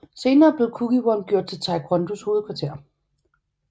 Senere blev Kukkiwon gjort til Taekwondos hovedkvarter